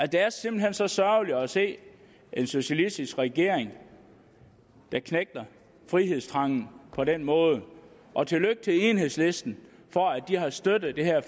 det er simpelt hen så sørgeligt at se en socialistisk regering der knægter frihedstrangen på den måde og tillykke til enhedslisten for at de har støttet det her